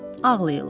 Ağlayırlar.